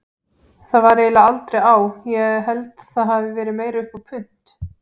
Það var eiginlega aldrei á, ég held það hafi verið meira upp á punt.